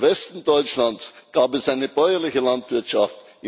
Im Westen Deutschlands gab es eine bäuerliche Landwirtschaft.